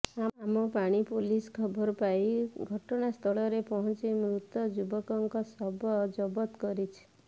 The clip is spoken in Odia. ଆମପାଣି ପୋଲିସ ଖବର ପାଇ ଘଟଣା ସ୍ଥଳରେ ପହଞ୍ଚି ମୃତ ଯୁବକଙ୍କ ଶବ ଜବତ କରିଛି